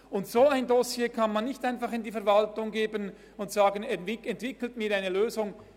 Ein solches Dossier kann man nicht einfach in die Verwaltung geben und sagen: «Entwickelt mir eine Lösung!